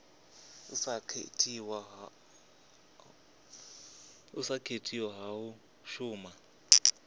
sa katelwa hu a shuma